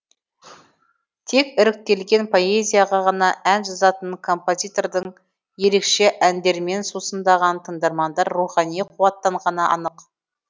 тек іріктелген поэзияға ғана ән жазатын композитордың ерекше әндерімен сусындаған тыңдармандар рухани қуаттанғаны анық